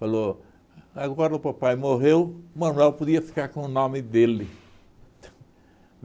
Falou, agora o papai morreu, o Manoel podia ficar com o nome dele.